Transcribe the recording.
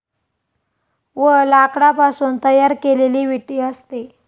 व लाकडापासून तयार केलेली विटी असते ।